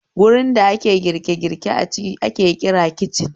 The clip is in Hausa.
Wurin da ake girke girke a ciki ake kira kicin